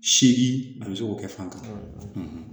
Seegin ani seko kɛ fankelen